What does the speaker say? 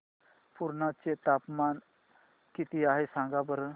पुर्णा चे तापमान किती आहे सांगा बरं